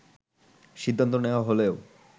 সিদ্ধান্ত নেয়া হলেও